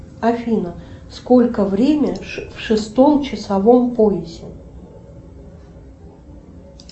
афина сколько время в шестом часовом поясе